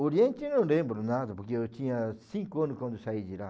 Oriente eu não lembro nada, porque eu tinha cinco anos quando eu saí de lá.